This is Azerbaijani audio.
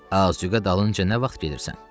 "Azüqə dalınca nə vaxt gedirsən?"